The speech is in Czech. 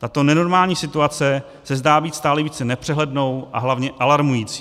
Tato nenormální situace se zdá být stále více nepřehlednou a hlavně alarmující.